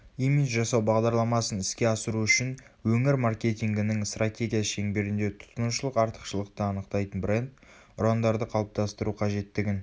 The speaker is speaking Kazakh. имидж жасау бағдарламасын іске асыру үшін өңір маркетингінің стратегиясы шеңберінде тұтынушылық артықшылықты анықтайтын бренд ұрандарды қалыптастыру қажеттігін